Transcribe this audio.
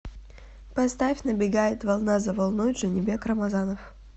поставь набегает волна за волной джанибек рамазанов